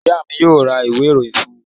Ìyá mi yóò ra ìwé-ìròyìn fún mi.